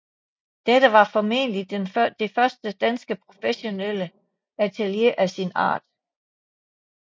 Dette var formentlig det første dansk professionelle atelier af sin art